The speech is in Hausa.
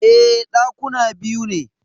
E, Ɗakuna biyu ne